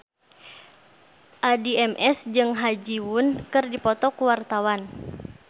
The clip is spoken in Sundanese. Addie MS jeung Ha Ji Won keur dipoto ku wartawan